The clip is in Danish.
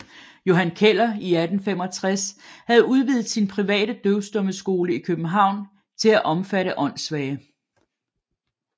Johan Keller i 1865 havde udvidet sin private døvstummeskole i København til at omfatte åndssvage